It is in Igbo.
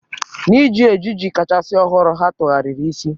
N'iji ejiji kachasị ọhụrụ, ha tụgharịrị isi.